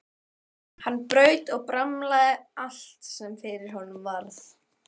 Hann braut og bramlaði allt sem fyrir honum varð.